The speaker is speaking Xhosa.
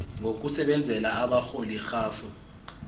ngokusebenzela abarholi rhafu